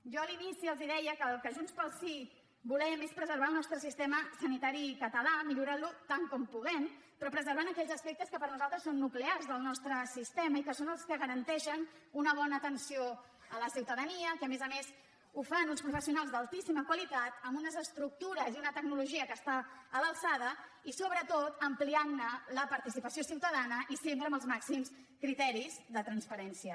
jo a l’inici els deia que el que junts pel sí volem és preservar el nostre sistema sanitari català i millorar lo tant com puguem però preservant aquells aspectes que per nosaltres són nuclears del nostre sistema i que són els que garanteixen una bona atenció a la ciutadania que a més a més la fan uns professionals d’altíssima qualitat amb unes estructures i una tecnologia que estan a l’alçada i sobretot ampliant ne la participació ciutadana i sempre amb els màxims criteris de transparència